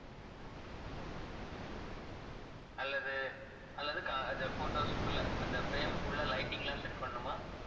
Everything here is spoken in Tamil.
அல்லது அல்லது க~ அது photos க்குள்ள அந்த frame உக்குள்ள lighting எல்லாம் set பண்ணனுமா?